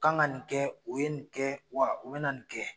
U kan ka nin kɛ u ye nin kɛ wa u be na nin kɛ